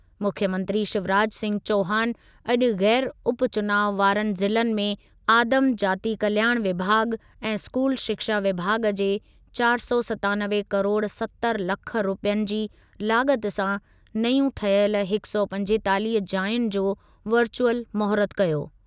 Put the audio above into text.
मुख्यमंत्री शिवराज सिंह चौहान अॼु ग़ैर उपचुनाव वारनि ज़िलनि में आदिम जाति कल्याण विभाॻु ऐं स्कूल शिक्षा विभाॻु जे चारि सौ सतानवे किरोड सतरि लख रुपयनि जी लाॻति सां नयूं ठहियल हिकु सौ पंजेतालीह जायुनि जो वर्चुअल महूरतु कयो।